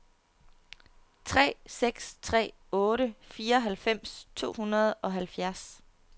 tre seks tre otte fireoghalvfems to hundrede og halvfjerds